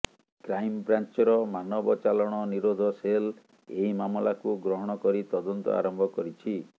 କ୍ରାଇମ୍ବ୍ରାଞ୍ଚର ମାନବ ଚାଲାଣ ନିରୋଧ ସେଲ୍ ଏହି ମାମଲାକୁ ଗ୍ରହଣ କରି ତଦନ୍ତ ଆରମ୍ଭ କରିଛି